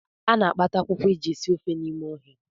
A na-akpata akwụkwọ e ji esi ofe n’ime ọhịa